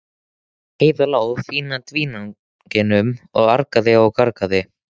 Heiða lá á fína dívaninum og argaði og gargaði.